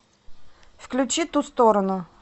включи ту сторону